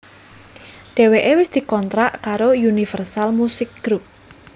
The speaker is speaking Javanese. Dheweké wis dikontrak karo Universal Musik Group